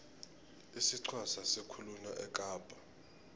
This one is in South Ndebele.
isixhosa sikhulunywa ekapa